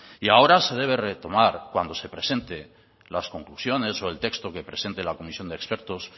y ahora se debe retomar cuando se presente las conclusiones o el texto que presente la comisión de expertos se